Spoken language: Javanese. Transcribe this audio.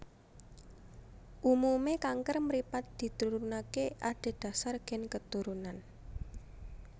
Umume kanker mripat diturunake adhedhasar gen keturunan